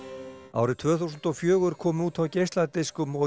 árið tvö þúsund og fjögur kom út á geisladiskum og